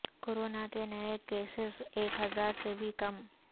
corona کے نئے cases ایک ہزار سے بھی کم